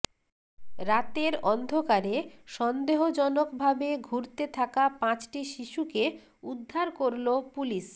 রাতের অন্ধকারে সন্দেহজনক ভাবে ঘুরতে থাকা পাঁচটি শিশুকে উদ্ধার করল পুলিশ